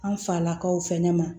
An falakaw fɛnɛ ma